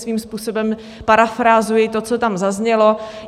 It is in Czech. Svým způsobem parafrázuji to, co tam zaznělo.